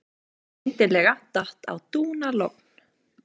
Skyndilega datt á dúnalogn.